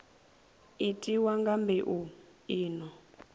itiwa nga mbeu i no